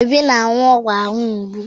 Obi na-aṅụ ọgwụ ahụ mgbu.